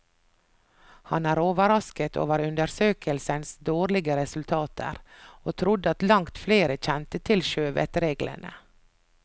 Han er overrasket over undersøkelsens dårlige resultater, og trodde at langt flere kjente til sjøvettsreglene.